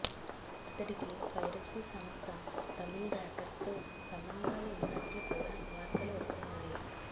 అతడికి పైరసీ సంస్థ తమిళ్ రాకర్స్ తో సంబంధాలు ఉన్నట్లు కూడా వార్తలు వస్తున్నాయి